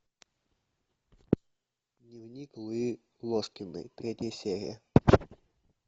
дневник луизы ложкиной третья серия